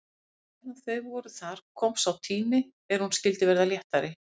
En meðan þau voru þar kom sá tími er hún skyldi verða léttari.